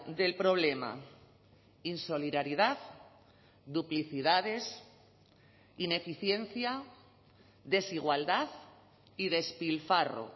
del problema insolidaridad duplicidades ineficiencia desigualdad y despilfarro